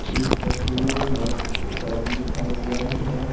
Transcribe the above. इस तस्वीर में सड़क दिखाई दे रही है।